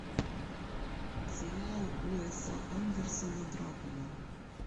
сериал уэса андерсона дракула